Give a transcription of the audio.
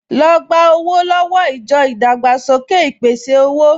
Lọ gba owó lọ́wọ́ ìjọ ìdàgbàsókè ìpèsè-owó!